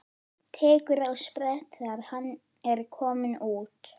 Tekur á sprett þegar hann er kominn út.